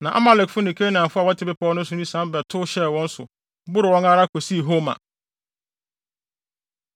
Na Amalekfo ne Kanaanfo a wɔte bepɔw no so no sian ba bɛtow hyɛɛ wɔn so boroo wɔn ara kosii Horma.